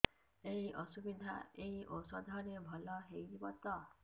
ଏଇ ଅସୁବିଧା ଏଇ ଔଷଧ ରେ ଭଲ ହେଇଯିବ ତ